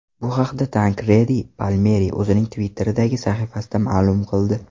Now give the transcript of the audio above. Bu haqda Tankredi Palmeri o‘zining Twitter’dagi sahifasida ma’lum qildi .